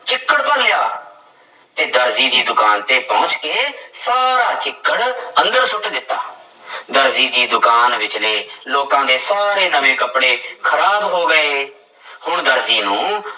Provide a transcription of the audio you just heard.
ਚਿੱਕੜ ਭਰ ਲਿਆ, ਤੇ ਦਰਜੀ ਦੀ ਦੁਕਾਨ ਤੇ ਪਹੁੰਚ ਕੇ ਸਾਰਾ ਚਿੱਕੜ ਅੰਦਰ ਸੁੱਟ ਦਿੱਤਾ ਦਰਜੀ ਦੀ ਦੁਕਾਨ ਵਿੱਚਲੇ ਲੋਕਾਂ ਦੇ ਸਾਰੇ ਨਵੇਂ ਕੱਪੜੇ ਖ਼ਰਾਬ ਹੋ ਗਏ ਹੁਣ ਦਰਜੀ ਨੂੰ